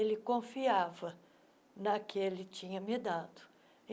Ele confiava na que ele tinha me dado.